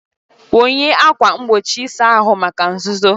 Wụnye ákwà mgbochi ịsa ahụ maka nzuzo.